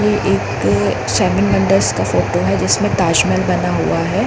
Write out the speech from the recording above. ये एक क शेमिंग अंडरस का फोटो है जिसमे ताजमहल बना हुआ है।